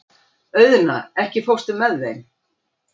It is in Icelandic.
Auðna, ekki fórstu með þeim?